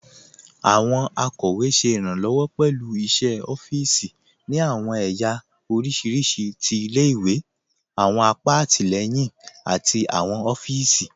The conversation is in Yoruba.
Àwọn akọwe ṣẹ irànlowọ pẹ̀lú iṣẹ̀ ọ̀fììsì ni àwọn èyà oríṣiríṣí tí ilẹ̀-ìwé, àwọn àpà àtilẹyìn àti àwọn ọ̀fíìsì.